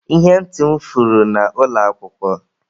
Ihe ntị m furu na ụlọ akwụkwọ.